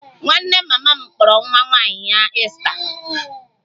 Nwanne mama m kpọrọ nwa ya nwaanyị Esther